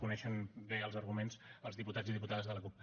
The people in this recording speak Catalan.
coneixen bé els arguments els diputats i diputades de la cup